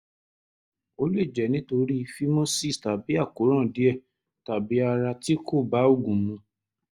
ó lè jẹ́ nítorí phimosis tàbí àkóràn díẹ̀ tàbí ara tí kò bá oògùn mu